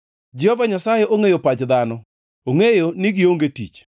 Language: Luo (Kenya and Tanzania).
Jehova Nyasaye ongʼeyo pach dhano; ongʼeyo ni gionge tich.